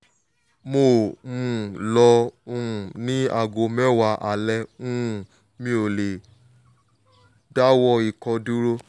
mo um loò um ó ní aago mẹ́wàá alẹ́ um mi ò le dáwọ́ ikọ́ duro